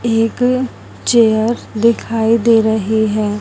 एक चेयर दिखाई दे रही है।